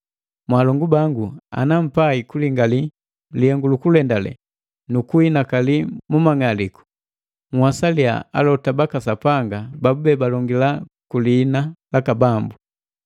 Mwaalongu bangu, ana mpai kulingali lilenganu lukulendale nu kuhinakali mu mang'aliku, nhwasaliya alota baka Sapanga babube balongila ku liina laka Bambu.